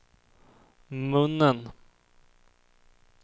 munnen